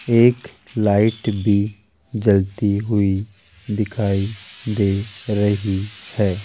एक लाइट भी जलती हुई दिखाई दे रही है।